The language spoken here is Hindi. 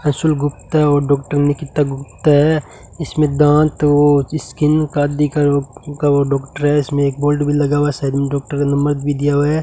अंशुल गुप्ता और डॉक्टर निकिता गुप्ता है इसमें दांत और स्किन का दिखा रोग का वो डॉक्टर है इसमें एक बोर्ड भी लगा हुआ है शायद उन डॉक्टर का नंबर भी दिया हुआ है।